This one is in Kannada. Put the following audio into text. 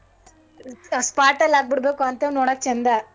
Spot ಅಲ್ಲ್ ಆಗ್ಬಿಡ್ಬೇಕು ಅಂತದ್ ನೋಡಕ್ ಚಂದ.